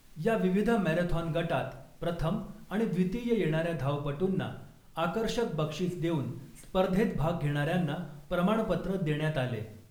या विविध मेराथॉन गटात प्रथम आणि द्वितीय येणाऱ्या धावपटूंना आकर्षक बक्षीस देऊन स्पर्धेत भाग घेणाऱ्यांना प्रमाणपत्र देण्यात आले .